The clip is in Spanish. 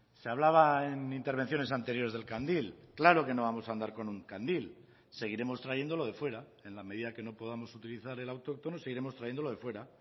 se hablaba en intervenciones anteriores del candil claro que no vamos a andar con un candil seguiremos trayendo lo de fuera en la medida que no podamos utilizar el autóctono seguiremos trayendo lo de fuera